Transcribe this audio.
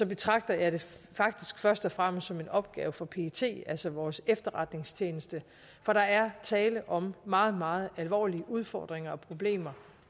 betragter jeg det faktisk først og fremmest som en opgave for pet altså vores efterretningstjeneste for der er tale om meget meget alvorlige udfordringer og problemer